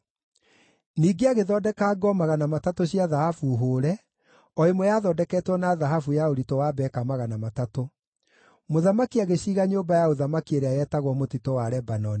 Ningĩ agĩthondeka ngo 300 cia thahabu hũũre, o ĩmwe yathondeketwo na thahabu ya ũritũ wa beka 300. Mũthamaki agĩciiga Nyũmba ya Ũthamaki ĩrĩa yetagwo Mũtitũ wa Lebanoni.